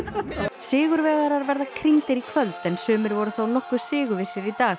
sigurvegarar verða krýndir í kvöld en sumir voru þó nokkuð sigurvissir í dag